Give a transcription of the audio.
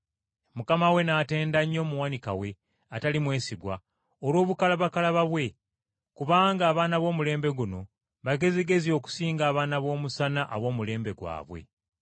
“Mukama we n’atenda nnyo omuwanika we atali mwesigwa olw’obukalabakalaba bwe. Kubanga abaana b’omulembe guno bagezigezi okusinga abaana b’omusana ab’omu mulembe gwabwe.”